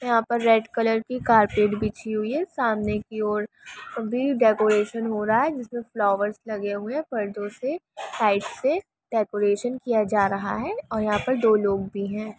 यहां पे red colour की कार्पेट बिछी हुई है सामने की ओर अभी भी डेकोरेशन हो रहा है जिसमे फ्लावर्स लगे हुए हैं पर्दो से साइड से डेकोरेशन किया जा रहा हैं और यहां पे दो लोग है।